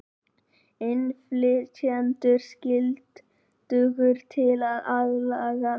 Innflytjendur skyldugir til að aðlagast